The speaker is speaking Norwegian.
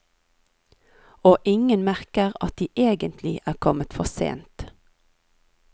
Og ingen merker at de egentlig er kommet for sent.